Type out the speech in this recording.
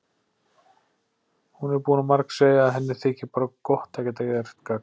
Hún er búin að margsegja að henni þyki bara gott að geta gert gagn.